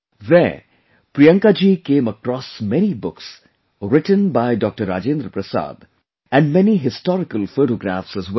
There, Priyanka ji came across many books written by Dr Rajendra Prasad and many historical photographs as well